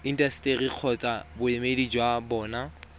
intaseteri kgotsa boemedi jwa bona